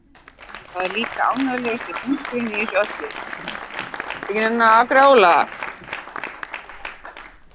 Það er líka ánægjulegasti punkturinn í þessu öllu